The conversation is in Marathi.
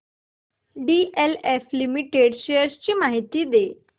डीएलएफ लिमिटेड शेअर्स ची माहिती दे